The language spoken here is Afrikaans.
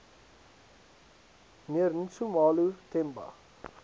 mnr nxumalo themba